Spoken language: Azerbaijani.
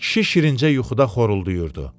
Kişi şirincə yuxuda xoruldayırdı.